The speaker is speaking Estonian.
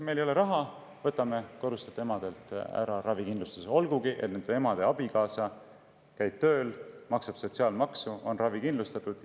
Meil ei ole raha ja võtame kodustelt emadelt ravikindlustuse, olgugi et nende abikaasa käib tööl, maksab sotsiaalmaksu ja on ravikindlustatud.